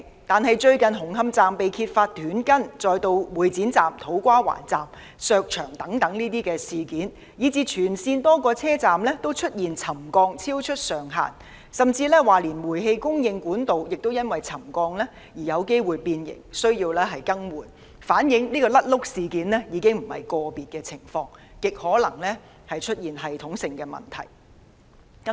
但是，最近紅磡站工程被揭發出現"短筋"，接着是會展站、土瓜灣站的牆身被削薄事件，以至全線多個車站均出現沉降幅度超出上限，甚至連煤氣供應管道也因為沉降而有機會變形，需要更換，反映"甩轆"事件已非個別情況，而是極可能出現了系統性問題。